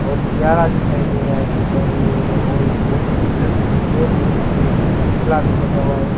बहोत प्यारा दिखाई दे रहा है गुब्बारे लो और बहोत ही सुंदर में लगी हुई एक पुतला भी लगा हुआ है।